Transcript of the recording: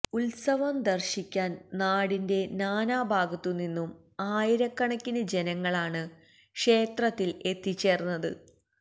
ഉത്സവം ദര്ശിക്കാന് നാടിന്റെ നാനാഭാഗത്തുനിന്നും ആയിരക്കണക്കിന് ജനങ്ങളാണ് ക്ഷേത്രത്തില് എത്തിച്ചേര്ന്നത്